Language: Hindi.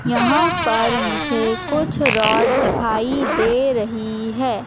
यहां पर मुझे कुछ रॉड दिखाई दे रही है।